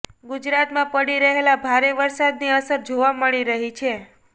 ગુજરાતમાં પડી રહેલા ભારે વરસાદની અસર જોવા મળી રહી છે